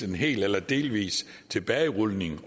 en hel eller delvis tilbagerulning